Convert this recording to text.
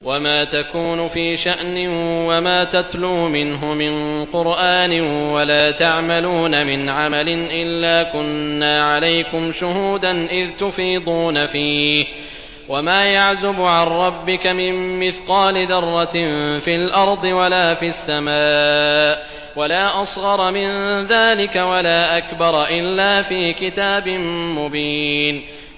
وَمَا تَكُونُ فِي شَأْنٍ وَمَا تَتْلُو مِنْهُ مِن قُرْآنٍ وَلَا تَعْمَلُونَ مِنْ عَمَلٍ إِلَّا كُنَّا عَلَيْكُمْ شُهُودًا إِذْ تُفِيضُونَ فِيهِ ۚ وَمَا يَعْزُبُ عَن رَّبِّكَ مِن مِّثْقَالِ ذَرَّةٍ فِي الْأَرْضِ وَلَا فِي السَّمَاءِ وَلَا أَصْغَرَ مِن ذَٰلِكَ وَلَا أَكْبَرَ إِلَّا فِي كِتَابٍ مُّبِينٍ